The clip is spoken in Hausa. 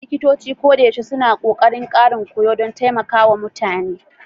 Likitoci koyaushe suna ƙoƙarin ƙarin koyo don taimaka wa mutane